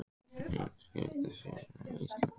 Eimskipafélag Íslands var stofnað árið sem ég fæddist.